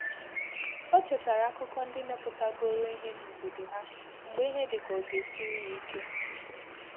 Ọ chetàra akụkọ ndị mepụta goro ìhè n’óbodo ha mgbe ìhè dịka ọ ga siri ya íké.